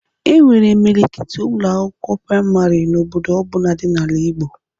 E nwere imilikiti Ụlọ akwụkwọ praịmarị n'obodo ọbụna dị n'ala Igbo